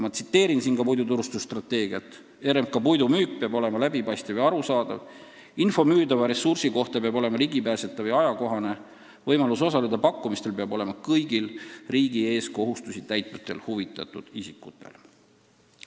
Ma tsiteerin siin ka puiduturustusstrateegiat: "RMK puidumüük peab olema läbipaistev ja arusaadav, info müüdava ressursi kohta peab olema ligipääsetav ja ajakohane, võimalus osaleda pakkumistel peab olema kõigil riigi ees kohustusi täitvatel huvitatud isikutel.